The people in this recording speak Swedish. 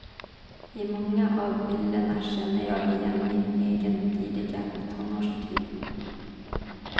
I många av bilderna känner jag igen min egen tidiga tonårstid.